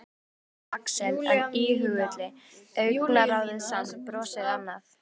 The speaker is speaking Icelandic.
Áræðinn eins og Axel en íhugulli, augnaráðið samt, brosið annað.